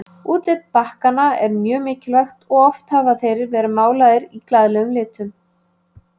Útlit bakkanna er mjög mikilvægt og oft eru þeir málaðir í glaðlegum litum.